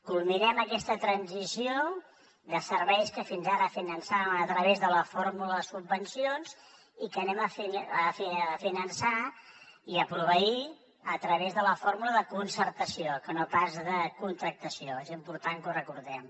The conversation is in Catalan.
culminem aquesta transició de serveis que fins ara finançàvem a través de la fórmula de subvencions i que finançarem i proveirem a través de la fórmula de concertació que no pas de contractació és important que ho recordem